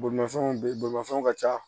Bolimafɛn bɛ bolimafɛnw ka ca